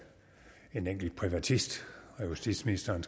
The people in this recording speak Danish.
en enkelt privatist og justitsministeren